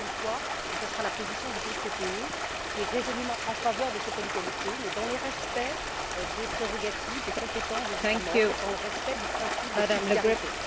Encore une fois et ce sera la position du groupe PPE qui est résolument en faveur de cette égalité, mais dans le respect des prérogatives, des compétences des États membres, dans le respect du principe de subsidiarité...